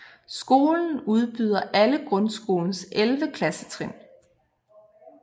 Skolen udbyder alle grundskolens 11 klassetrin